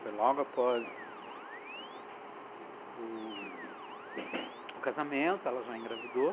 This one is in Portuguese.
Foi logo após o casamento, ela já engravidou.